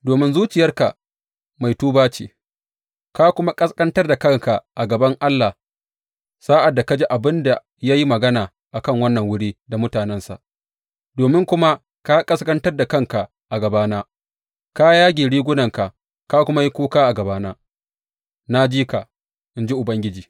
Domin zuciyarka mai tuba ce, ka kuma ƙasƙantar da kanka a gaban Allah sa’ad da ka ji abin da ya yi magana a kan wannan wuri da mutanensa, domin kuma ka ƙasƙantar da kanka a gabana, ka yage rigunanka ka kuma yi kuka a gabana, na ji ka, in ji Ubangiji.